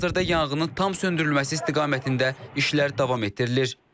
Hazırda yanğının tam söndürülməsi istiqamətində işlər davam etdirilir.